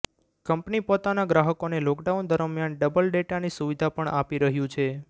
company પોતાના ગ્રાહકોને lockdown દરમ્યાન ડબલ ડેટાની સુવિધા પણ આપી રહ્યું છે